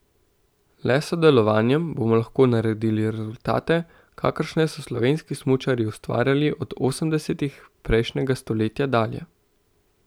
Le s sodelovanjem bomo lahko naredili rezultate, kakršne so slovenski smučarji ustvarjali od osemdesetih prejšnjega stoletja dalje.